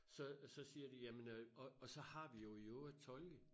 Så så siger de jamen øh og og så har vi jo i øvrigt tolke